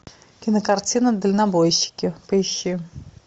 кинокартина дальнобойщики поищи